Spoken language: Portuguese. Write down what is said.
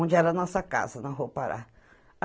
Onde era a nossa casa na Rua Pará.